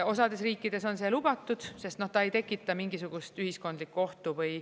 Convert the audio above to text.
Osades riikides on see lubatud, sest ta ei tekita mingisugust ühiskondlikku ohtu.